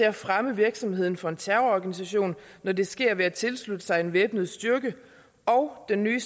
at fremme virksomheden for en terrororganisation når det sker ved at tilslutte sig en væbnet styrke og den nye